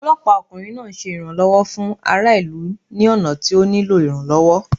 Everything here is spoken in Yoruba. Ọlọpa okunrin naa ṣe iranlọwọ fun ara ilu ni ọna ti o nilo iranlọwọ.